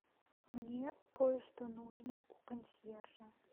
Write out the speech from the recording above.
мне кое что нужно у консьержа